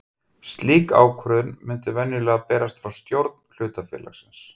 Slík ákvörðun mundi venjulega berast frá stjórn hlutafélagsins.